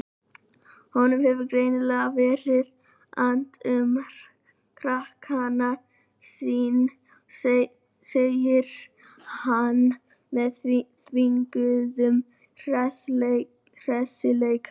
Honum hefur greinilega verið annt um frakkann sinn, segir hann með þvinguðum hressileika.